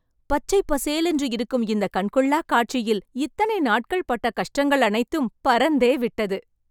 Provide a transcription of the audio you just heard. பச்சைப் பசேலென்று இருக்கும் இந்தக் கண்கொள்ளாக் காட்சியில், இத்தனை நாட்கள் பட்ட கஷ்டங்கள் அனைத்தும் பறந்தேவிட்டது